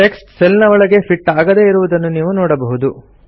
text cell ನ ಒಳಗೆ fit ಆಗದೇ ಇರುವುದನ್ನು ನೀವು ನೋಡಬಹುದು